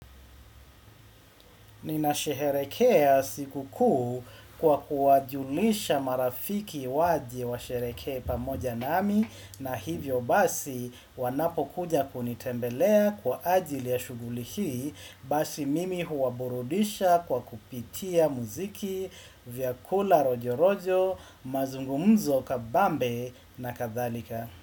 Ninasherehekea siku kuu kwa kuwajulisha marafiki waje washerehekee pamoja nami, na hivyo basi wanapokuja kunitembelea kwa ajili ya shughuli hii basi mimi huwaburudisha kwa kupitia muziki, vyakula rojo rojo, mazungumzo kabambe na kadhalika.